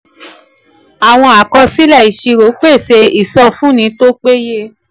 àwọn àkọsílẹ̀ ìṣirò pèsè ìsọfúnni tó péye.